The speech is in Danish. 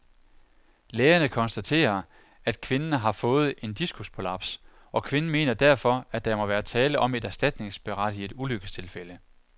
Lægerne konstaterer, at kvinden har fået en diskusprolaps, og kvinden mener derfor, at der må være tale om et erstatningsberettiget ulykkestilfælde.